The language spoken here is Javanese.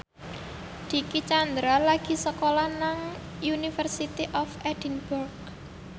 Dicky Chandra lagi sekolah nang University of Edinburgh